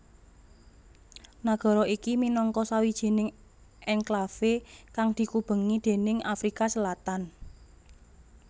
Nagara iki minangka sawijining enklave kang dikubengi déning Afrika Selatan